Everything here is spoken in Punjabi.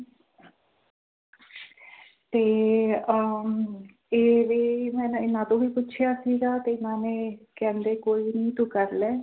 ਤੇ ਅਹ ਤੇ ਇਹ ਮੈਂ ਇਹਨਾਂ ਤੋਂ ਵੀ ਪੁੱਛਿਆ ਸੀਗਾ ਤੇ ਇਹਨਾਂ ਨੇ ਕਹਿੰਦੇ ਕੋਈ ਨੀ ਤੂੰ ਕਰ ਲੈ।